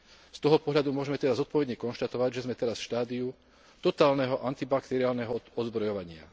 Z toho pohľadu môžme teda zodpovedne konštatovať, že sme teda v štádiu totálneho antibakteriálneho odzbrojovania.